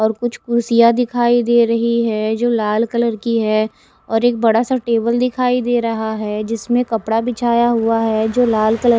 और कुछ कुड्सिया दिखाई दे रही है जो लाल कलर की है और एक बड़ा सा टेबल दिखाई दे रहा है जिसमे कपड़ा बिछाया हुआ है जो लाल कलर --